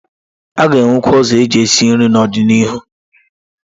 A ga-enwekwu ụzọ eji esi nri n'ọdịnihu.